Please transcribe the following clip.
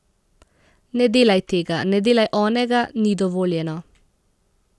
Ne delaj tega, ne delaj onega, ni dovoljeno.